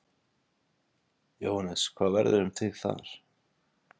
Jóhannes: Hvað verður um þig þar?